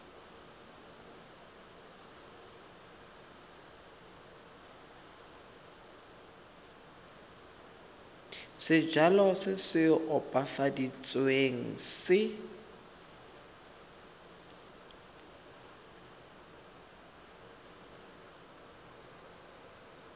sejalo se se opafaditsweng se